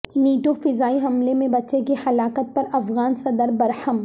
NATO فضائی حملے میں بچے کی ہلاکت پر افغان صدر برہم